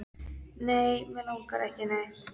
Nei, mig langar ekki í neitt.